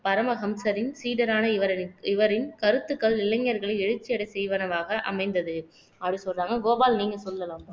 பரமஹம்சரின் சீடரான இவரி இவரின் கருத்துக்கள் இளைஞர்களை எழுச்சி அடைய செய்வனவாக அமைந்தது அப்டினு சொல்றாங்க கோபால் நீங்க சொல்லலாம்